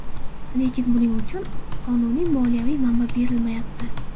Lekin buning uchun qonuniy moliyaviy manba berilmayapti.